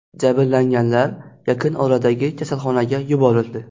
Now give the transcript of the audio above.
Jabrlanganlar yaqin oradagi kasalxonaga yuborildi.